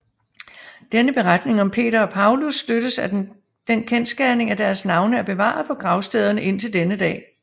Denne beretning om Peter og Paulus støttes af den kendsgerning at deres navne er bevaret på gravstederne indtil denne dag